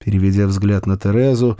переведя взгляд на терезу